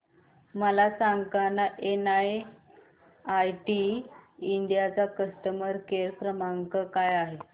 मला सांगाना NIIT India चा कस्टमर केअर क्रमांक काय आहे